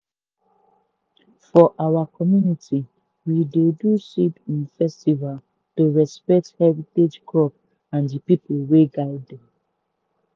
for our community we dey do seed um festival to respect heritage crop and the people wey guide dem.